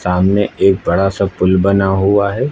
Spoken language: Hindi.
सामने एक बड़ा सा पुल बना हुआ है।